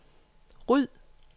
ryd